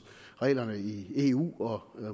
reglerne i eu og